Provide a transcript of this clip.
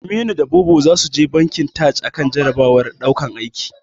Aminu da Bobo zasu je bankin Taj akan jarabawar daukan aiki.